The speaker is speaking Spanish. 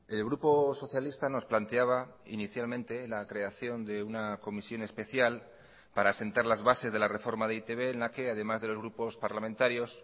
el grupo socialista nos planteaba inicialmente la creación de una comisión especial para asentar las bases de la reforma de e i te be en la que además de los grupos parlamentarios